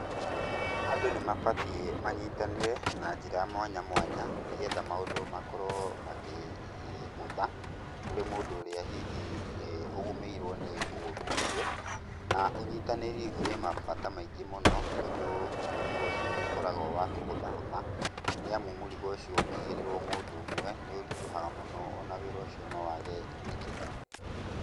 Andũ nĩ mabatiĩ manyitanĩre na njĩra mwanya mwanya nĩ getha maũndũ makorwo makĩhũtha kũrĩ mũndũ ũrĩa hihi ũgũmĩirwo nĩ ũũru ũcio na ũnyitanĩri ũrĩ mabata maingĩ mũno tondũ mũrigo ũcio nĩ ũkoragwo wa kũhũthahũtha nĩ amu mũrigo ũcio ũngĩigĩrĩrwo mũndũ ũmwe nĩũritũhaga mũno,o na wĩra ũcio no waage gwĩkĩka.